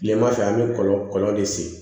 Kilema fɛ an be kɔlɔ kɔlɔ de sen